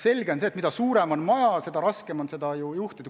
Selge see, et mida suurem on maja, seda raskem on seda juhtida.